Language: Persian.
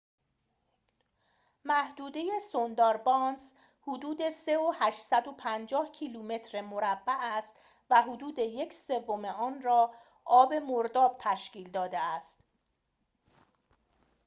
محدوده سونداربانس حدود 3,850 کیلومتر مربع است و حدود یک سوم آن را آب/مرداب تشکیل داده است